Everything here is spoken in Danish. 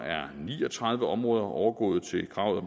er ni og tredive områder overgået til kravet